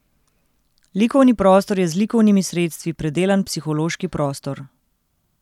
Likovni prostor je z likovnimi sredstvi predelan psihološki prostor.